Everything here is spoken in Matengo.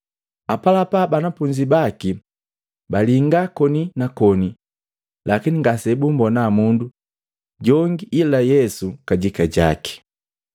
Apalapa banafunzi baki balinga koni na koni, lakini ngasebummbona mundu jonge ila Yesu kajika jaki.